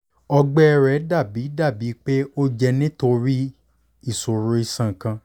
ọgbẹ rẹ dabi dabi pe o jẹ nitori iṣoro iṣan kan